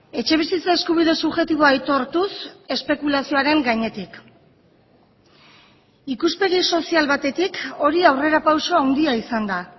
etxebizitza eskubide subjektiboa aitortuz espekulazioaren gainetik ikuspegi sozial batetik hori aurrerapauso handia izan da